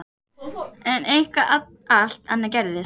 En eitthvað allt annað gerðist.